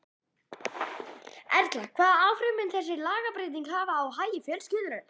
Erla, hvað áhrif mun þessi lagabreyting hafa á hagi fjölskyldunnar?